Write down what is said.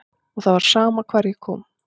Og það var sama hvar ég kom.